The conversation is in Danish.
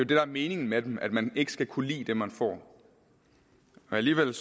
der er meningen med dem altså at man ikke skal kunne lide det man får alligevel